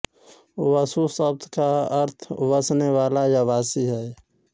वसु शब्द का अर्थ वसने वाला या वासी है